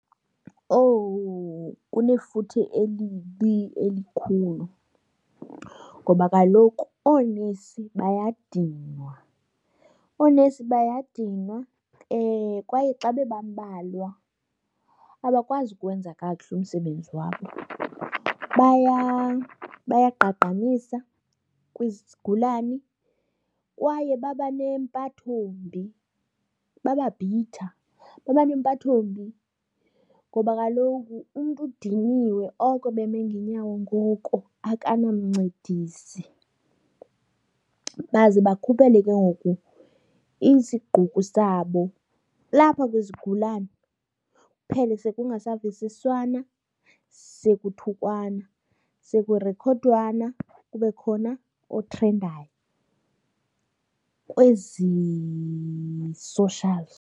Owu, kunefuthe elibi elikhulu ngoba kaloku oonesi bayadinwa. Oonesi bayadinwa kwaye xa bebambalwa abakwazi ukwenza kakuhle umsebenzi wabo. Bayagqagqanisa kwizigulani kwaye baba nempatho mbi, bababhitha. Baba nempatho mbi ngoba kaloku umntu udiniwe oko beme ngeenyawo ngoko akanamncedisi. Baze bakhuphele ke ngoku isigqukru sabo lapha kwizigulana, kuphele sekungasavisiswana sekuthukwana sekurikhodwana kube khona otrendayo kwezi socials.